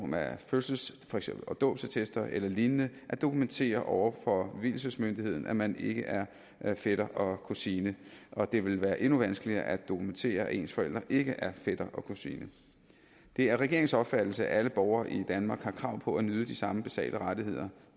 med fødselsattester dåbsattester eller lignende at dokumentere over for vielsesmyndigheden at man ikke er er fætter og kusine og det vil være endnu vanskeligere at dokumentere at ens forældre ikke er fætter og kusine det er regeringens opfattelse at alle borgere i danmark har krav på at nyde de samme basale rettigheder